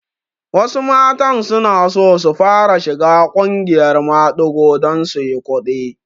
Wasu matan sunaso su fara shiga ƙungiyar maɗigo don suyi kuɗi